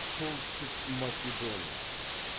солтүстік македония